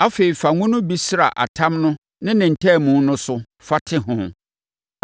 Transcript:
Afei, fa ngo no bi sra atam no ne ne ntaamu no so fa te ho.